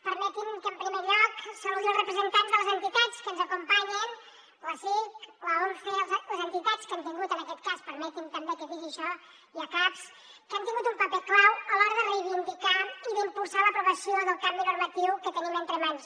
permetin que en primer lloc saludi els representants de les entitats que ens acompanyen l’acic l’once les entitats que han tingut en aquest cas permetin me també que digui això i acapps que han tingut un paper clau a l’hora de reivindicar i d’impulsar l’aprovació del canvi normatiu que tenim entre mans